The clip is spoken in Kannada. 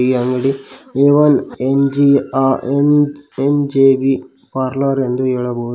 ಈ ಅಂಗಡಿ ಎ ಒನ್ ಎನ್_ಜೆ ಆ ಎನ್ ಎನ್_ಜೆ_ಬಿ ಪಾರ್ಲರ್ ಎಂದು ಹೇಳಬಹುದು.